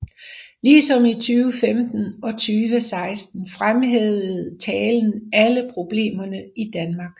Ligesom i 2015 og 2016 fremhævede talen alle problemerne i Danmark